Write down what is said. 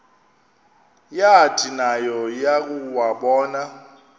yathi nayo yakuwabona